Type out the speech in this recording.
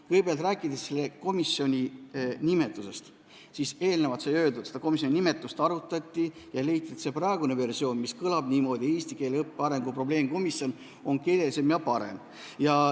Kõigepealt, rääkides selle komisjoni nimetusest, siis nagu eelnevalt ütlesin, seda arutati ja leiti, et praegune versioon, mis kõlab "eesti keele õppe arengu probleemkomisjon", on keeleliselt parem.